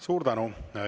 Suur tänu!